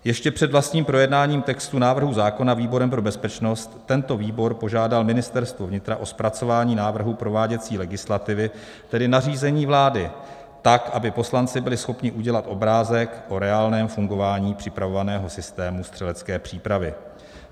Ještě před vlastním projednáním textu návrhu zákona výborem pro bezpečnost tento výbor požádal Ministerstvo vnitra o zpracování návrhu prováděcí legislativy, tedy nařízení vlády, tak aby poslanci byli schopni udělat obrázek o reálném fungování připravovaného systému střelecké přípravy.